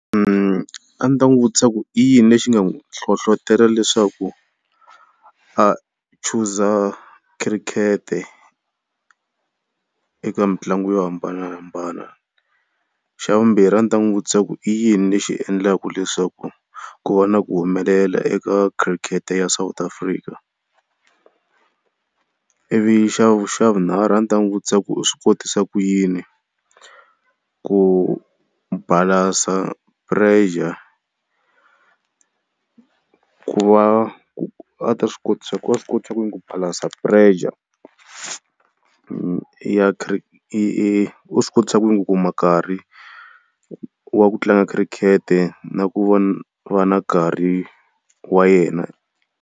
a ndzi n'wi vutisa ku i yini lexi nga n'wi nhlohlotelo leswaku a choose-za cricket-e eka mitlangu yo hambanahambana. Xa vumbirhi a ndzi ta n'wi vutisa ku i yini lexi endlaka leswaku ku va na ku humelela eka khirikete ya South Africa. Ivi xa vunharhu a ndzi ta n'wi vutisa ku i swi kotisa ku yini ku balancer pressure, ku va a ta swi kotisa a ta swi kotisa ku yini ku balance pressure ya u swi kotisa ku yini ku kuma nkarhi wa ku tlanga khirikete na ku va na karhi wa yena.